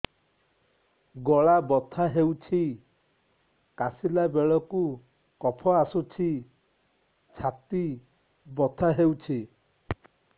ଗଳା ବଥା ହେଊଛି କାଶିଲା ବେଳକୁ କଫ ଆସୁଛି ଛାତି ବଥା ହେଉଛି